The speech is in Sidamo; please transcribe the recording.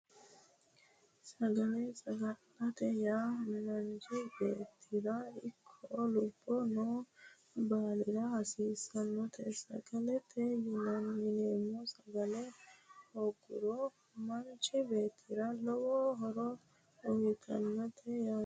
Sagale sagalete yaa manchi beettirano ikko lubbo noo baalira hasiissannota sagalete yineemmo sagale hoogguro manchi beettira lowo horo uyitannote yaate